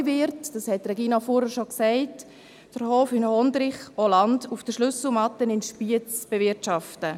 Neu wird, das hat Regina Fuhrer bereits gesagt, der Hof in Hondrich auch Land auf der Schlüsselmatte in Spiez bewirtschaften.